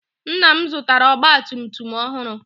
Nna m zụtara ọgba tum tum ọhụrụ.